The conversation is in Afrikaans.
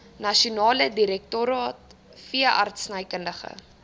nasionale direktoraat veeartsenykundige